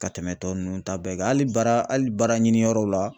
Ka tɛmɛ tɔ ninnu ta bɛɛ kan hali baara hali baaraɲiniyɔrɔw la